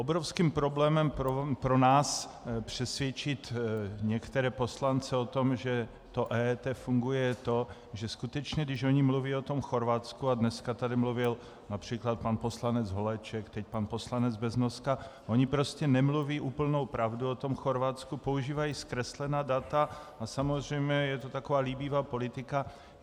Obrovským problém pro nás přesvědčit některé poslance o tom, že to EET funguje, je to, že skutečně když oni mluví o tom Chorvatsku - a dneska tady mluvil například pan poslanec Holeček, teď pan poslanec Beznoska, oni prostě nemluví úplnou pravdu o tom Chorvatsku, používají zkreslená data a samozřejmě je to taková líbivá politika.